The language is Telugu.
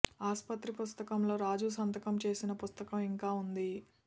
ఆసుపత్రి పుస్తకంలో రాజు సంతకం చేసిన పుస్తకం ఇంకా ఉంది